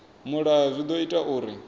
mulayo zwi ḓo ita uri